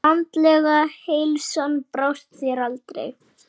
Andlega heilsan brást þér aldrei.